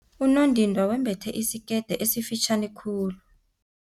Unondindwa wembethe isikete esifitjhani khulu.